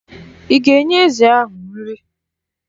Ị ga-enye ezi ahụ nri?